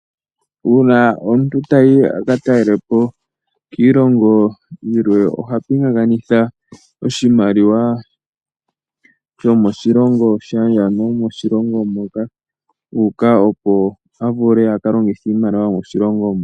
Uuna omuntu tayi aka talelepo koshilongo shimwe, oha pingakanitha oshimaliwa shomoshilongo shaandjawo naambyoka yomoshilongo moka u uka, opo a vule aka longithe iimaliwa yomoshilongo mo.